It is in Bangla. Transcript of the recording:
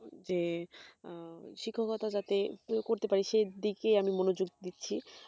যে শিক্ষকতা যাতে করতে পারি সেই দিকে মনযোগ দিচ্ছি